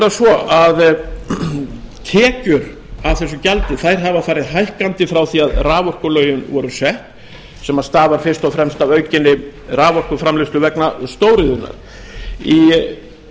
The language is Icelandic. nú er það svo að tekjur af þessu gjaldi hafa farið hækkandi frá því að raforkulögin voru sett sem stafar fyrst og fremst að aukinni raforkuframleiðslu vegna stóriðjunnar í